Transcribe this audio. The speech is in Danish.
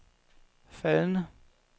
faldende